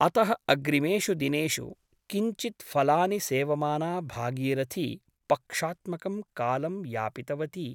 अतः अग्रिमेषु दिनेषु किञ्चित् फलानि सेवमाना भागीरथी पक्षात्मकं कालं यापितवती ।